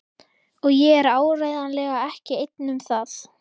Og ég er áreiðanlega ekki einn um það.